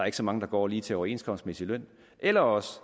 ikke så mange der går lige til overenskomstmæssig løn eller også